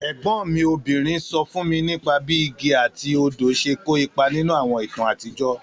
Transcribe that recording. Ègbón mi obìnrin so fún mi nípa bí igi àti odò se kó ipa nínú àwọn ìtàn àtijọ́.